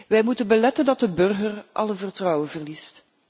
Wij moeten beletten dat de burger alle vertrouwen verliest.